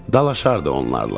Dalaşardı onlarla.